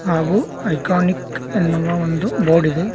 ಹಾಗೂ ಐಕಾನಿಕ್ ಎನ್ನುವ ಒಂದು ಬೋರ್ಡಿದೆ.